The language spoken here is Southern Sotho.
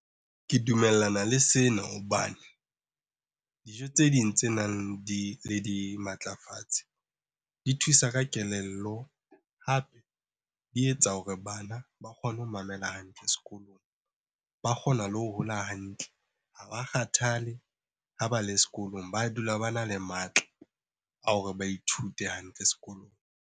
Ke dumellana le sena hobane dijo tse ding tse nang le dimatlafatsi di thusa ka kelello, hape di etsa hore bana ba kgone ho mamela hantle sekolong. Ba kgona le ho hola hantle, ha ba kgathale ha ba le sekolong. Ba dula bana le matla a hore ba ithute hantle sekolong.